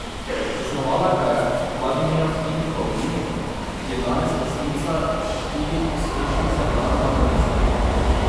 Zasnovala ga je Vladimira Fink Pavlin, ki je danes lastnica štirih uspešnih zlatarn na Dolenjskem.